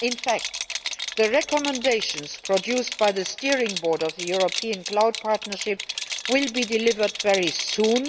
In fact, the recommendations produced by the steering board of the European cloud partnership will be delivered very soon.